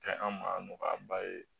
Kɛ an ma nɔgɔya ba ye